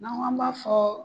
N'an kɔ an b'a fɔɔ